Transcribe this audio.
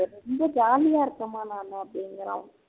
இங்க jolly ஆ இருக்கேம்மா நானு அப்படிங்குறான்